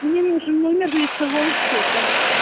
мне нужен номер лицевого счета